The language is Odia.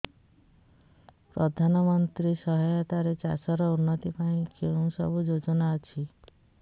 ପ୍ରଧାନମନ୍ତ୍ରୀ ସହାୟତା ରେ ଚାଷ ର ଉନ୍ନତି ପାଇଁ କେଉଁ ସବୁ ଯୋଜନା ଅଛି